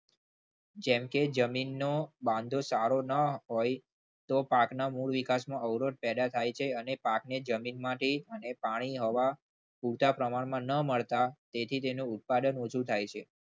જેમકે જમીનનો બાંધો સારો ના હોય તો પાકના મૂળ વિકાસમાં અવરોધ પેદા થાય છે. અને પાકને જમીનમાંથી પાણી અને હવા પૂરતા પ્રમાણમાં ના મળતા તેનું જે ઉત્પાદન ઓછું થાય છે.